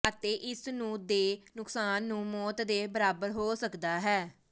ਅਤੇ ਇਸ ਨੂੰ ਦੇ ਨੁਕਸਾਨ ਨੂੰ ਮੌਤ ਦੇ ਬਰਾਬਰ ਹੋ ਸਕਦਾ ਹੈ